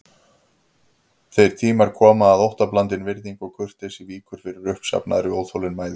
Þeir tímar koma að óttablandin virðing og kurteisi víkur fyrir uppsafnaðri óþolinmæði.